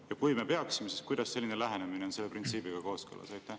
Ja kui me peaksime, siis kuidas on selline lähenemine selle printsiibiga kooskõlas?